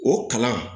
O kalan